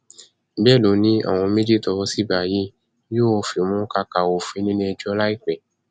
bẹẹ ló ní àwọn méjì tówó sì bá yìí yóò fimú káká òfin nílẹẹjọ láìpẹ